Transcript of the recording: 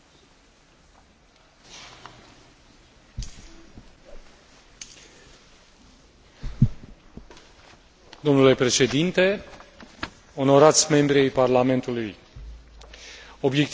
Domnule Președinte, onorați membri ai Parlamentului, obiectivul general al politicii Uniunii Europene pentru multilingvism este acela de a pune în valoare